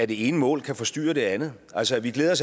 det ene mål kan forstyrre det andet altså vi glædede